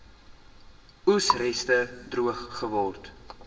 oesreste droog geword